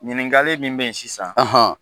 Ɲininkali min be ye sisan,